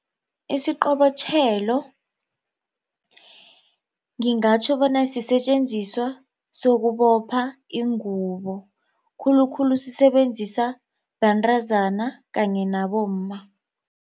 Isiqobotjhelo ngingatjho bona sisetjenziswa sokubopha ingubo khulukhulu sisebenzisa bantazana kanye nabomma.